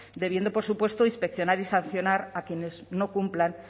debiendo por supuesto inspeccionar y sancionar a quienes no cumplan